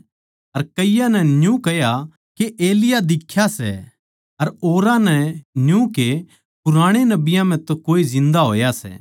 अर कईयाँ नै न्यू कह्या के एलिय्याह दिख्या सै अर औरां नै न्यू के पुराणे नबियाँ म्ह तै कोए जिन्दा होया सै